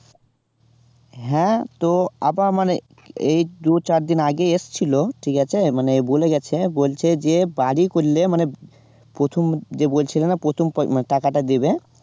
হ্যাঁ তো আবার মানে এই দু চারদিন আগে এসেছিল ঠিক আছে মানে বলে গেছে, বলছে যে বাড়ি করলে মানে প্রথম যে বলছিলে না প্রথম পয় মানে টাকাটা দেবে